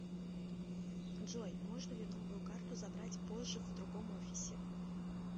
джой можно ли новую карту забрать позже в другом офисе